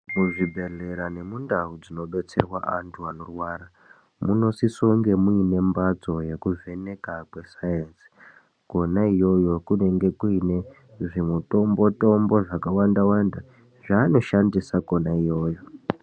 Muzvibhehlera nemundau dzinobetserwa antu anorwara munosisonge muine mbatso yekuvheneka kwesainzi Kona iyoyo kunonga kuone zvimitombo tombo zvakawanda wanda zvaanoshandisa Kona iyoyo.